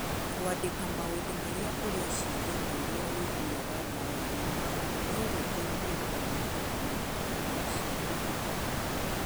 Kwandĩka maũndũ marĩa ũreciria na ũrĩa ũiguaga ndayarĩ-inĩ no gũgũteithie kũnyihia kũnoga kwa meciria.